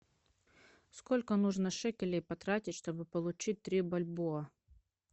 сколько нужно шекелей потратить чтобы получить три бальбоа